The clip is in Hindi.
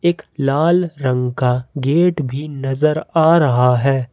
लाल रंग का गेट भी नजर आ रहा है।